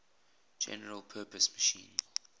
general purpose machine